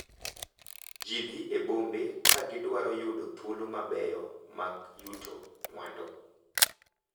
Ji dhi e bombe ka gidwaro yudo thuolo mabeyo mag yuto mwandu,